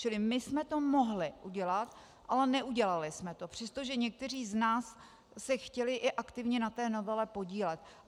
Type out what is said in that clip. Čili my jsme to mohli udělat, ale neudělali jsme to, přestože někteří z nás se chtěli i aktivně na té novele podílet.